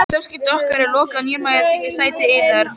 Samskiptum okkar er lokið og nýr maður tekur sæti yðar.